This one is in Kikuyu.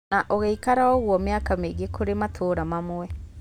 Na ũgĩikara ũguo mĩaka mĩingĩ kũrĩ matũra mamwe.